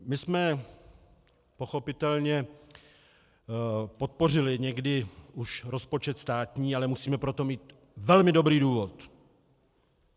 My jsme pochopitelně podpořili někdy už rozpočet státní, ale musíme pro to mít velmi dobrý důvod.